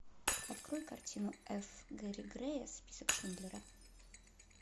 открой картину ф гэри грея список шиндлера